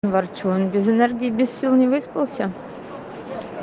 ворчун без энергии без сил не выспался